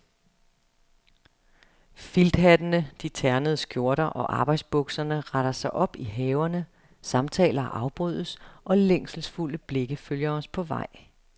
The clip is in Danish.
Filthattene, de ternede skjorter og arbejdsbukserne retter sig op i haverne, samtaler afbrydes og længselsfulde blikke følger os på vej.